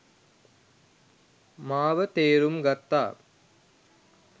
මාව තේරුම් ගත්තා.